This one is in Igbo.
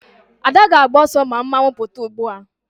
Ada ga-agba oso ma mmanwu aputa ugbua